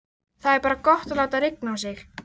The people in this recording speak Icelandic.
Vertu samt við öllu búin, segi ég dræmt.